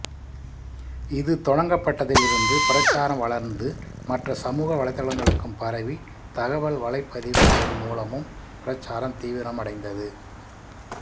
இது தொடங்கப்பட்டதில் இருந்து பிரச்சாரம் வளர்ந்து மற்ற சமூக வலைத்தளங்களுக்கும் பரவி தகவல் வலைப்பதிவுகள் மூலமும் பிரச்சாரம் தீவிரமடைந்தது